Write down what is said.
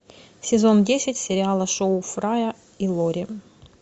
сезон десять сериала шоу фрая и лори